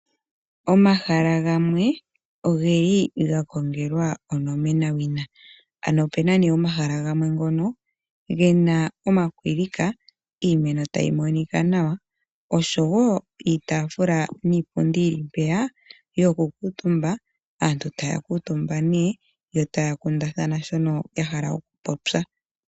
Omahala gamwe oge li ga kongelwa onomenawina. Opuna omahala ngono pu na omakwilika, iimeno tayi monika nawa osho wo iitaafula niipundi yoku kuutumba. Aantu ohaya kuutumba nduno, yo taya kundathana shono ya hala okupopya.